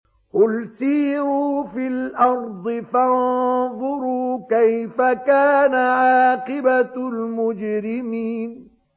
قُلْ سِيرُوا فِي الْأَرْضِ فَانظُرُوا كَيْفَ كَانَ عَاقِبَةُ الْمُجْرِمِينَ